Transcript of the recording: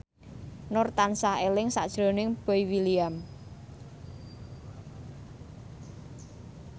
Nur tansah eling sakjroning Boy William